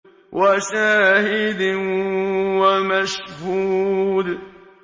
وَشَاهِدٍ وَمَشْهُودٍ